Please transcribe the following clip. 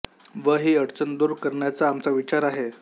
व ही अडचण दूर करण्याचा आमचा विचार आहे